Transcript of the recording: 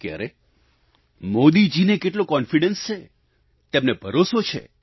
કે અરે મોદીજીને કેટલો આત્મવિશ્વાસ છે તેમને ભરોસો છે